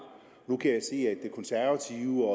nu kan jeg se at det konservative